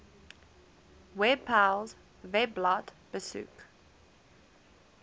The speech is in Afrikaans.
webpals webblad besoek